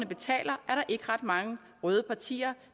betaler er der ikke ret mange røde partier